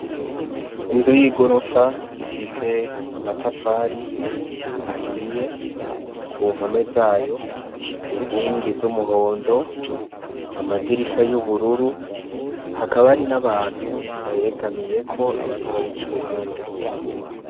Inzu y'igorofa ifise amatafari ahiye, ku mpome zayo, inkingi z'umuhondo, amadirisha y'ubururu; hakaba hariho n'abantu bayegamiyeko, abandi bayica iruhande.